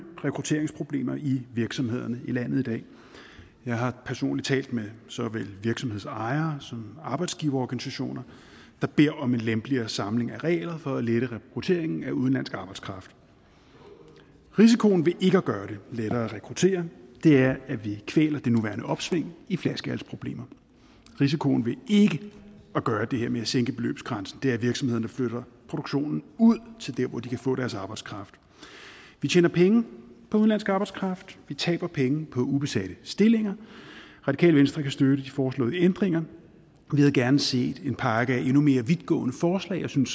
rekrutteringsproblemer i virksomhederne i landet i dag jeg har personligt talt med såvel virksomhedsejere som arbejdsgiverorganisationer der beder om en lempeligere samling af regler for at lette rekrutteringen af udenlandsk arbejdskraft risikoen ved ikke at gøre det lettere at rekruttere er at vi kvæler det nuværende opsving i flaskehalsproblemer risikoen ved ikke at gøre det her med at sænke beløbsgrænsen er at virksomhederne flytter produktionen ud til dér hvor de kan få deres arbejdskraft vi tjener penge på udenlandsk arbejdskraft vi taber penge på ubesatte stillinger radikale venstre kan støtte de foreslåede ændringer vi havde gerne set en pakke af endnu mere vidtgående forslag jeg synes